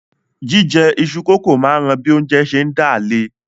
Jíjẹ iṣu-kókò máa ń ran bí oúnjẹ ń ṣé dà le